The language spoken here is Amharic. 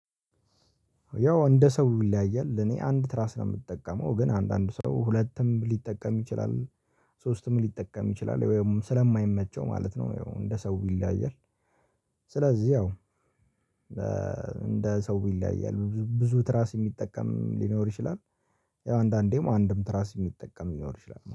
ያው እንደ ሰው ይለያያል እኔ አንድ ትራስ ለምጠቀመው ግን አንድ አንድ ሰው ሁለትም ሊጠቀም ይችላል። ሶስትም ሊጠቀም ይችላል ወይም ስለማይመቸው ማለት ነው እንደ ሰው ይለያያል። ስለዚህ አዎ። እንደ ሰው ይለያያል ብዙ ትራስ የሚጠቀም ሊኖር ይችላል። ያው አንዳንዴም አንድም ትራስ የሚጠቀም ሊኖር ይችላል